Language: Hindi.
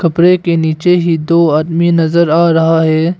प्रे के नीचे ही दो आदमी नजर आ रहा है।